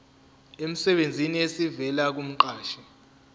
emsebenzini esivela kumqashi